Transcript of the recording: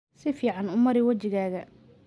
Si fiican u mari wejigaaga.